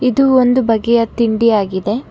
ಇದು ಒಂದು ಬಗೆಯ ತಿಂಡಿ ಆಗಿದೆ.